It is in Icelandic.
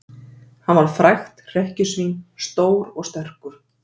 Hann var frægt hrekkjusvín, stór og sterkur.